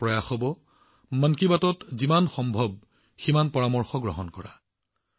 মোৰ প্ৰয়াস হব মন কী বাতত সৰ্বাধিক পৰামৰ্শ অন্তৰ্ভুক্ত কৰা